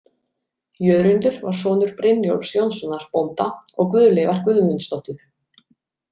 Jörundur var sonur Brynjólfs Jónssonar, bónda, og Guðleifar Guðmundsdóttur.